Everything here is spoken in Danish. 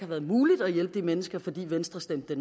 har været muligt at hjælpe de mennesker fordi venstre stemte